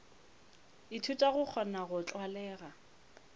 ithuta go kgona go tlwalega